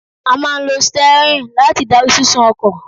A máà ń lo steering láti darí sísún ọkọ̀.